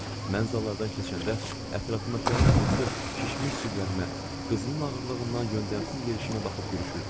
Mən zalardan keçəndə ətrafındakıların hamısı şişmiş ciblərimə, qızılın ağırlığından yöndəmsiz yerişimə baxıb gülüşürdülər.